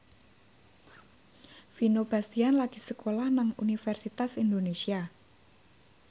Vino Bastian lagi sekolah nang Universitas Indonesia